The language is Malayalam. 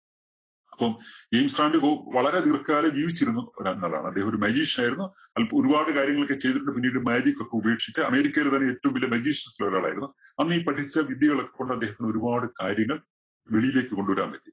ജെയിംസ് റാന്‍ഡി ഹും വളരെ ദീര്‍ഘ കാലം ജീവിച്ചിരുന്നു . അദ്ദേഹം ഒരു magician യിരുന്നു ഒരുപാട് കാര്യങ്ങളൊക്കെ ചെയ്തിട്ടുണ്ട് പിന്നീട് magic ഒക്കെ ഉപേക്ഷിച്ച് അമേരിക്കയിലെ തന്നെ ഏറ്റവും വലിയ magicians ല്‍ ഒരാളായിരുന്നു. അന്നീ പഠിച്ച വിദ്യകൾ കൊണ്ടൊക്കെ അദ്ദേഹത്തിന് ഒരുപാട് കാര്യങ്ങൾ വെളിയിലേക്ക് കൊണ്ട് വരാന്‍ പറ്റി.